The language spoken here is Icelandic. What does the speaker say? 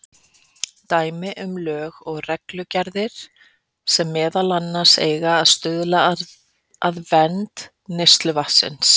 Dæmi um lög og reglugerðir sem meðal annars eiga að stuðla að vernd neysluvatnsins.